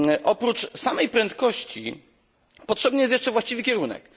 Oprócz samej prędkości potrzebny jest jeszcze właściwy kierunek.